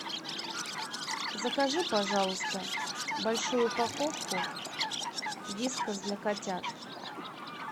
закажи пожалуйста большую упаковку вискас для котят